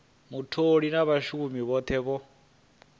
mutholi na vhashumi vhothe vho